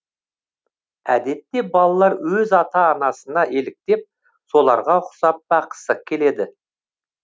әдетте балалар өз ата анасына еліктеп соларға ұқсап баққысы келеді